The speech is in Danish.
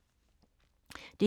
DR1